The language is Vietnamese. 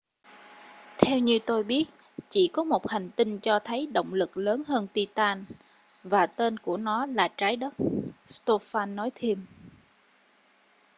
theo như tôi biết chỉ có một hành tinh cho thấy động lực lớn hơn titan và tên của nó là trái đất stofan nói thêm